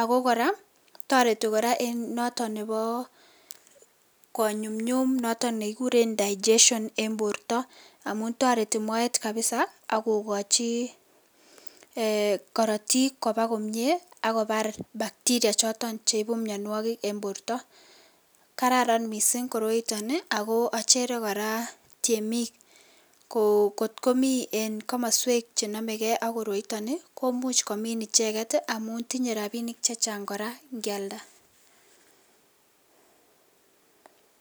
akokoraa tareti koraa en noton Nebo konyum nyum nekikuren digestion en borta amun tareti Moet kabisa akokachi ? Korotik Koba komie akobar bacteria choton cheibu mianwakik en borta kararan mising koroiton ako achere koraa temik kotkomii en kamaswek chenamegei akoroiton ii komuch komin icheken amun tinye rabinik chechang koraa ngealda